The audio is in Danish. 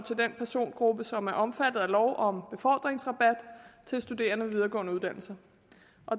til den persongruppe som er omfattet af lov om befordringsrabat til studerende ved videregående uddannelser